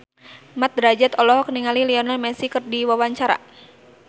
Mat Drajat olohok ningali Lionel Messi keur diwawancara